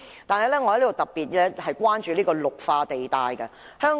此外，我亦特別關注綠化地帶。